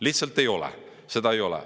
Lihtsalt ei ole, seda ei ole.